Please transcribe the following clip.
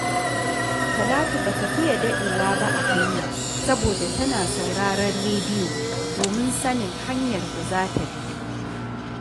Talatu ba ta fiye daɗewa ba a hanya, saboda tana sauraron rediyo domin sanin hanyar da za ta bi